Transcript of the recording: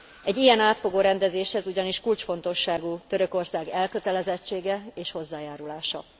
Egy ilyen átfogó rendezéshez ugyanis kulcsfontosságú Törökország elkötelezettsége és hozzájárulása.